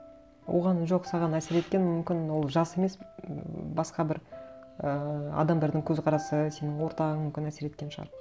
оған жоқ саған әсер еткен мүмкін ол жас емес ммм басқа бір ііі адамдардың көзқарасы сенің ортаң мүмкін әсер еткен шығар